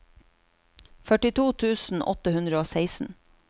førtito tusen åtte hundre og seksten